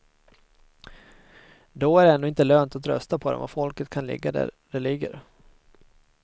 Då är det ändå inte lönt att rösta på dem och folket kan ligga där det ligger.